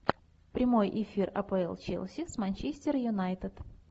прямой эфир апл челси с манчестер юнайтед